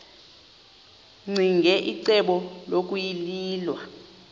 ccinge icebo lokuyilwa